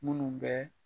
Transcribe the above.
Minnu bɛ